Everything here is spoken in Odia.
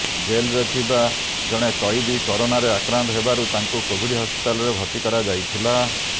ଜେଲରେ ଥିବା ଜଣେ କଏଦୀ କରୋନାରେ ଆକ୍ରାନ୍ତ ହେବାରୁ ତାଙ୍କୁ କୋଭିଡ ହସ୍ପିଟାଲରେ ଭର୍ତ୍ତି କରାଯାଇଥିଲା